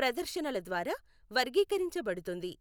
ప్రదర్శనల ద్వారా వర్గీకరించబడుతుంది.